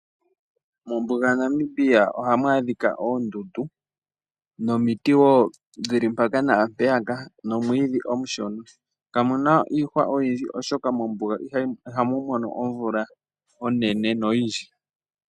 Mombuga yaNamibia ohamu adhika oondundu nomiti woo dhili mpaka naampeyaka nomwiidhi omushona. Kamu na iihwa oyindji, oshoka mombuga ihamu mono omvula oyindji.